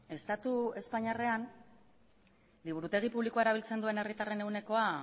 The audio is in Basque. estatu espainiarrean liburutegi publikoa erabiltzen duen herritarren ehunekoa